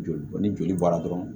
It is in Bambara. Joli ni joli bɔra dɔrɔn